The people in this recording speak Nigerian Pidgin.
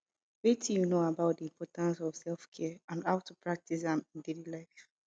wetin you know about di importance of selfcare and how to practice am in daily life